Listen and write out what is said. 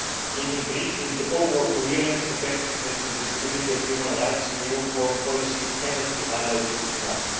in increasing the overall coherence, effectiveness and visibility of human rights in EU foreign policy cannot be highlighted enough.